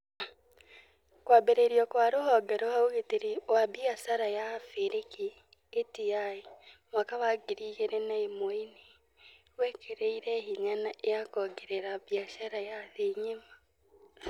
Kwambĩrĩrio kwa rũhonge rwa ũgitĩri wa biacara ya Abirika (ATI) mwaka wa ngiri igĩrĩ na ĩmwenĩ gwekĩrire hinya na kwongerera biacara ya thĩ ng'ima.